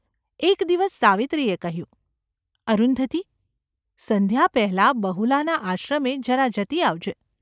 એક દિવસ સાવિત્રીએ કહ્યું : ‘અરુંધતી ! સંધ્યા પહેલાં બહુલાના આશ્રમે જરા જતી આવજે.